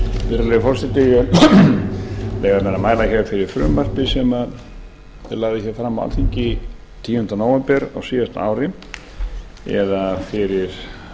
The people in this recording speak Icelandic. vil leyfa mér að mæla fyrir frumvarpi sem ég lagði fram á alþingi tíunda nóvember á síðasta ári eða fyrir